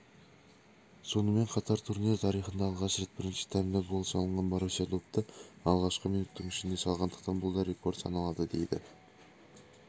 сонымен қатар турнир тарихында алғаш рет бірінші таймда гол салынған боруссия допты алғашқы минуттың ішінде салғандықтан бұл да рекорд саналады дейді